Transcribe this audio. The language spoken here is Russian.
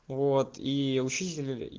вот и учителя